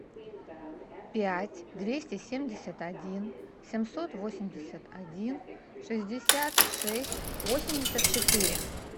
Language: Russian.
пять двести семьдесят один семьсот восемьдесят один шестьдесят шесть восемьдесят четыре